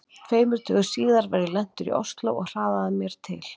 Tveimur dögum síðar var ég lentur í Osló og hraðaði mér til